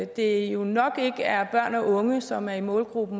det jo nok ikke er børn og unge som er i målgruppen